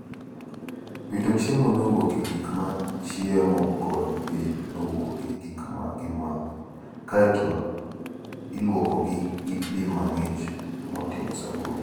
Wito chiemo mowuok e gik ma gichiemoe kod pi mowuok e gik ma gimodho, kae to ilwokgi gi pi mang'ich moting'o sabun.